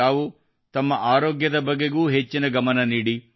ತಾವು ತಮ್ಮ ಆರೋಗ್ಯದ ಬಗೆಗೂ ಹೆಚ್ಚಿನ ಗಮನ ನೀಡಿ